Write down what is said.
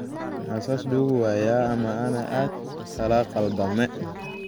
Maxa sas laquwaye ama ana aad kalaqaldame.